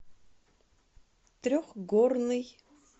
трехгорный